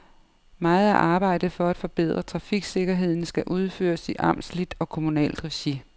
Meget af arbejdet for at forbedre trafiksikkerheden skal udføres i amtsligt og kommunalt regi.